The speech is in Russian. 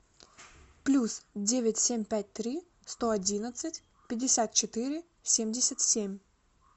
плюс девять семь пять три сто одиннадцать пятьдесят четыре семьдесят семь